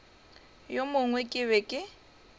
wo mongwe ke be ke